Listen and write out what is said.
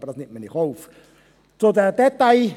Aber das nimmt man in Kauf.